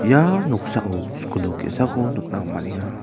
ia noksao skul nok ge·sako nikna man·enga.